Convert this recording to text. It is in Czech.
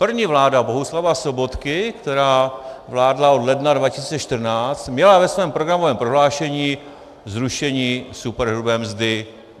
První vláda Bohuslava Sobotky, která vládla od ledna 2014, měla ve svém programovém prohlášení zrušení superhrubé mzdy.